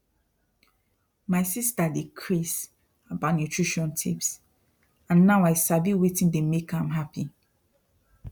my sister dey craze about nutrition tips and now i sabi wetin dey make am happy